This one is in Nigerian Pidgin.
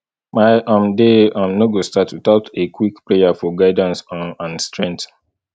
my um day um no go start without a quick prayer for guidance um and strength